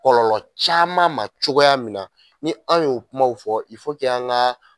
Kɔlɔlɔ caman ma cogoya min na ni an y'o kumaw fɔ i fɔ k'an ga